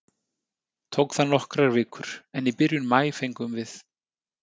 Tók það nokkrar vikur, en í byrjun maí fengum við